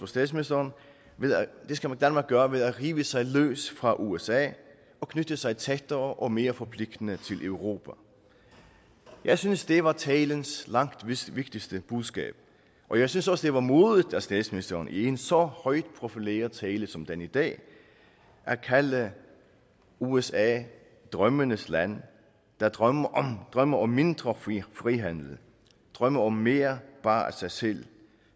statsministeren gøre ved at rive sig løs fra usa og knytte sig tættere og mere forpligtende til europa jeg synes det var talens langt vigtigste budskab og jeg synes også det var modigt af statsministeren i en så højt profileret tale som den i dag at kalde usa drømmenes land der drømmer drømmer om mindre frihandel drømmer om mere bare sig selv